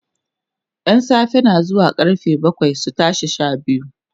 ƴan safe na zuwa karfe bakwai su tashi Sha biyu